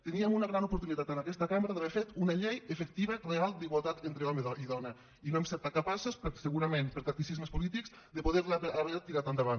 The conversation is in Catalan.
teníem una gran oportunitat en aquesta cambra d’haver fet una llei efectiva real d’igualtat entre home i dona i no n’hem set capaços segurament per tacticismes polítics d’haver la tirat endavant